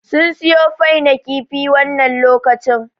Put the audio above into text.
Sun suyo fai na kifi wannan lokacin